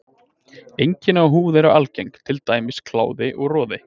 Einkenni á húð eru algeng, til dæmis kláði og roði.